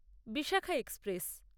Bishakha express